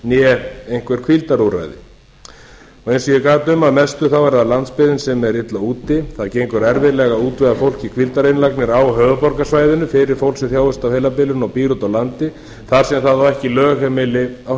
lyf né einhver hvíldarúrræði eins og ég gat um að mestu þá er það landsbyggðin sem er illa úti það gengur erfiðlega að útvega fólk í hvíldarinnlagnir á höfuðborgarsvæðinu fyrir fólk sem þjáist af heilabilun og býr úti á landi þar sem það á ekki lögheimili á